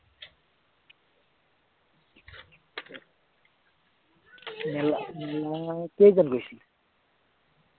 মেলা মেলা কেইজন গৈছিলি?